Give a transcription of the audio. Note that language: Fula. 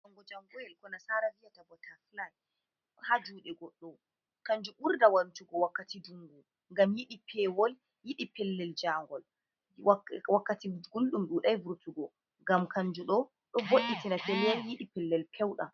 Dungo jangoel ko nasara viyata bota fly ha jude goɗɗo kanjum burda wartugo wakkati dungu ngam yiɗi pewol, yiɗi pellel jangol wakkati gulɗum dudai vurtugo ngam kanjum ɗo, ɗo vo'itina pellel yiɗi pellel peudam.